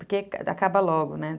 Porque acaba logo, né?